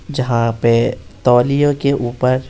जहां पे तौलियों के ऊपर---